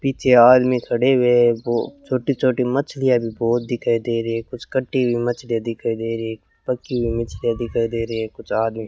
पीछे आदमी खड़े हुए है वो छोटी-छोटी मछलियां भी बहुत दिखाई दे रही है कुछ कटी हुई मछलियां दिखाई दे रही है पकी हुई मछलियां दिखाई दे रही है कुछ आदमी --